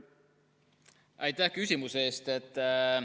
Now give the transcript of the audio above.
Aitäh küsimuse eest!